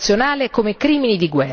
Prima però vanno fermati.